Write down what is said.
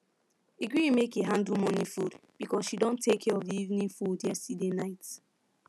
e gree make e handle morning food because she don take care of evening food yesterday night